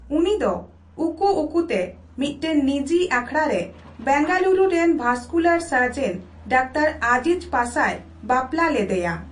ᱩᱱᱤ ᱫᱚ ᱩᱠᱩᱼᱩᱠᱩᱛᱮ ᱢᱤᱫᱴᱟᱝ ᱱᱤᱡᱤ ᱟᱠᱷᱲᱟ ᱨᱮ ᱵᱮᱝᱜᱟᱞᱩᱨᱩ ᱨᱮᱱ ᱵᱷᱟᱥᱠᱩᱞᱟᱨ ᱥᱟᱨᱡᱮᱱ ᱰᱟᱠᱛᱟᱨ ᱟᱡᱤᱡᱽ ᱯᱟᱥᱟᱭ ᱵᱟᱯᱞᱟ ᱞᱮᱫᱮᱭᱟ ᱾